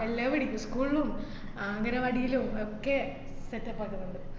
എല്ലാവിടേക്കും school ലും അഹ് അംഗനവാടീലും ഒക്കെ setup ആക്കുന്ന്ണ്ട്.